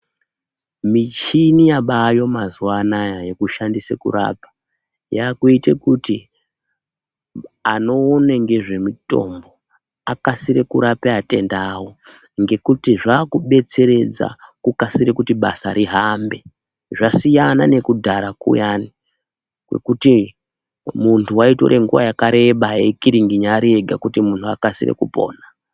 Michini yabayo mazuwa anaa yekushandise kurapa, yakuite kuti anoona ngezvemutombo akasire kurape atenda awo ngekuti zvakubetseredza kukasire kuti basa rihambe. Zvasiyana nekudhara kuyani kwekuti muntu waitore nguwa yakareba eikiringinya ari ega kuti munhu akasire kupona.